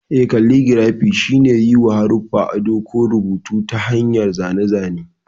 Eh, kalligirafi shine yiwa haruffa ado ko rubutun a ta hanyar zane-zane.